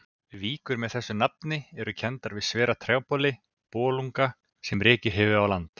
Víkur með þessu nafni eru kenndar við svera trjáboli, bolunga, sem rekið hefur á land.